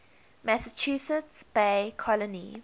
massachusetts bay colony